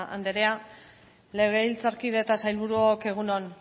andrea legebiltzarkide eta sailburuok egun on